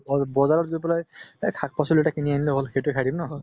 বজা~ বজাৰত গৈ পেলাই এহ শাক পাচলি এটা কিনি আনিলে হ'ল সেইটো খাই দিম ন